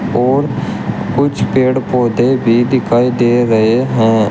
और कुछ पेड़ पौधे भी दिखाई दे रहे हैं।